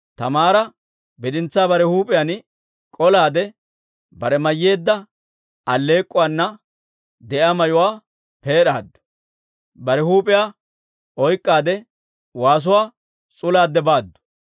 Taamaara bidintsaa bare huup'iyaan k'olaade, bare mayyeedda alleek'k'uwaana de'iyaa mayuwaa peed'aaddu; bare huup'iyaa oyk'k'aadde, waasuwaa s'ulaade baaddu.